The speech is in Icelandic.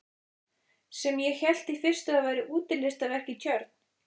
Sem ég hélt í fyrstu að væri útilistaverk í tjörn.